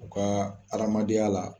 U ka adamadenya la.